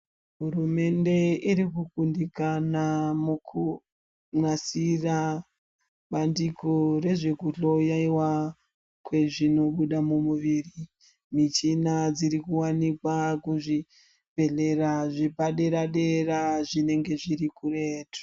Hurumende iri kukundikana mukunasira bandiko nezvekuhloyewa kwezvinobuda muviri mivmchina dziri kuwanikwa kuzvibhedhleya zvepaderadera zvinenge zviri kuretu.